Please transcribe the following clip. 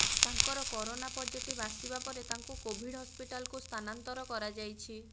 ତାଙ୍କର corona positive ଆସିବା ପରେ ତାଙ୍କୁ କୋଭିଡ୍ ହସ୍ପିଟାଲକୁ ସ୍ଥାନାନ୍ତର କରାଯାଇଛି